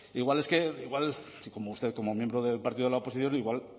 igual es que igual usted como miembro del partido de la oposición igual